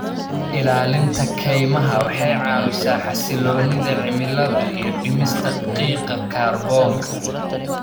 Ilaalinta kaymaha waxay caawisaa xasilloonida cimilada iyo dhimista qiiqa kaarboon-da.